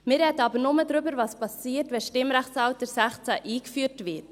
Wir sprechen aber nur darüber, was geschieht, wenn das Stimmrechtsalter 16 eingeführt wird.